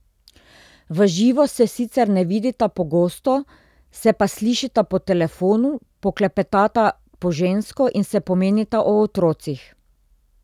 V živo se sicer ne vidita pogosto, se pa slišita po telefonu, poklepetata po žensko in se pomenita o otrocih.